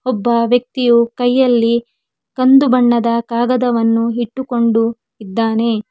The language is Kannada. ಒಬ್ಬ ವ್ಯಕ್ತಿ ಕೈಯಲ್ಲಿ ಕಂದು ಬಣ್ಣದ ಕಾಗದವನ್ನು ಇಟ್ಟುಕೊಂಡು ಇದ್ದಾನೆ.